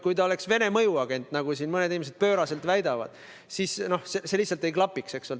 Kui ta oleks Vene mõjuagent, nagu siin mõned inimesed pööraselt väidavad, siis see lihtsalt ei klapiks.